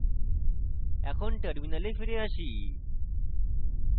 এখন terminal ফিরে আসি